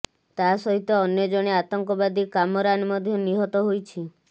ତା ସହିତ ଅନ୍ୟ ଜଣେ ଆତଙ୍କବାଦୀ କାମରାନ ମଧ୍ୟ ନିହତ ହୋଇଛି